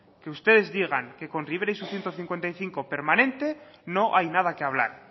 que ustedes digan que con rivera y su ciento cincuenta y cinco permanente no hay nada que hablar